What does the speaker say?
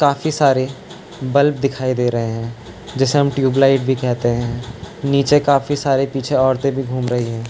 काफी सारे बल्ब दिखाई दे रहे हैं जिसे हम ट्यूब लाइट भी कहते हैं निचे काफी सारे पीछे औरतें भी घूम रही हैं।